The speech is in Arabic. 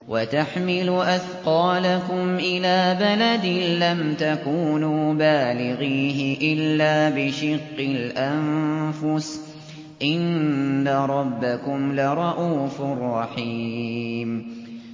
وَتَحْمِلُ أَثْقَالَكُمْ إِلَىٰ بَلَدٍ لَّمْ تَكُونُوا بَالِغِيهِ إِلَّا بِشِقِّ الْأَنفُسِ ۚ إِنَّ رَبَّكُمْ لَرَءُوفٌ رَّحِيمٌ